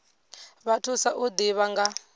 vha thusa u ḓivha nga